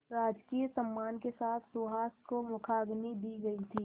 राजकीय सम्मान के साथ सुहास को मुखाग्नि दी गई थी